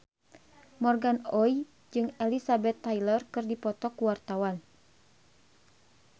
Morgan Oey jeung Elizabeth Taylor keur dipoto ku wartawan